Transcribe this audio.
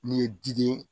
N'i ye diden ye